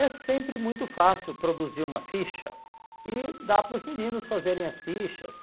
É sempre muito fácil produzir uma ficha e dá para os meninos fazerem as fichas